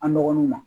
An dɔgɔninw ma